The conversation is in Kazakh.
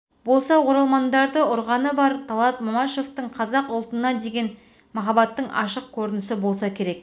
болса оралмандарды ұрғаны бар талғат мамашевтың қазақ ұлтына деген махаббатының ашық көрінісі болса керек